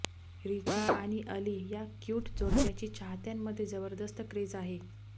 रिचा आणि अली या क्यूट जोडप्याची चाहत्यांमध्ये जबरदस्त क्रेझ आहे